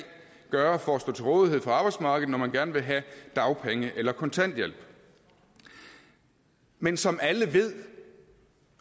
gøre for at stå til rådighed for arbejdsmarkedet når man gerne vil have dagpenge eller kontanthjælp men som alle ved